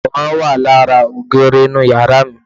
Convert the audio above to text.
Àwòrán wà lára ògiri inú yàrá mi